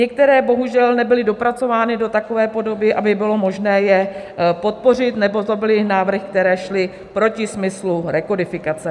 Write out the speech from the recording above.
Některé bohužel nebyly dopracovány do takové podoby, aby bylo možné je podpořit, nebo to byly návrhy, které šly proti smyslu rekodifikace.